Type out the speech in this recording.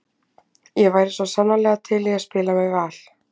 Ég væri svo sannarlega til í að spila með Val.